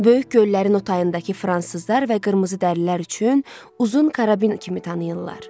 Böyük göllərin o tayındakı fransızlar və qırmızıdərilər üçün uzun karabin kimi tanıyırlar.